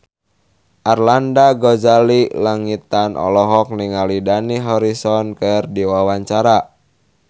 Arlanda Ghazali Langitan olohok ningali Dani Harrison keur diwawancara